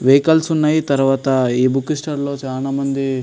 Vehicles ఉన్నాయి. తర్వాత ఈ బుక్ స్టాల్ లో చాలామంది --